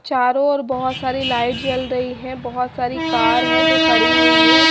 चारों ओर बहोत सारी लाइट जल रही है बहोत सारी कार है जो खड़ी हुई है।